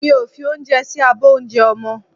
Mi ò fi oúnjẹ sí abọ́ oúnjẹ ọmọ